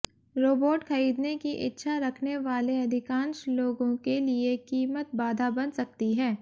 robot खरीदने की इच्छा रखने वाले अधिकांश लोगों के लिए कीमत बाधा बन सकती है